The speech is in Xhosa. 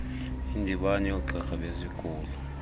indibano yoogqirha bezigulo